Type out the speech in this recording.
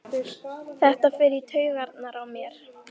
Þetta fer í taugarnar á mér.